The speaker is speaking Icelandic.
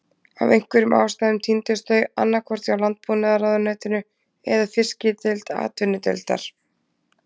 Af einhverjum ástæðum týndust þau, annað hvort hjá Landbúnaðarráðuneytinu eða Fiskideild Atvinnudeildar